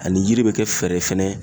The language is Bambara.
Ani yiri be kɛ fɛɛrɛ fɛnɛ